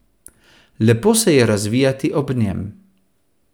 Lepo se je razvijati ob njem.